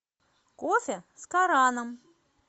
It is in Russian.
кофе с кораном